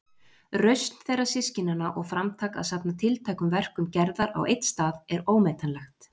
Rausn þeirra systkinanna og framtak að safna tiltækum verkum Gerðar á einn stað er ómetanlegt.